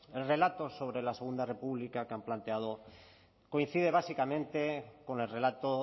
el relato sobre la segundo república que han planteado coincide básicamente con el relato